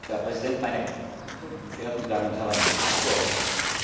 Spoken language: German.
Herr Präsident, meine verehrten Damen und Herren Abgeordneten!